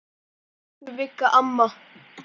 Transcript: Elsku Vigga mamma.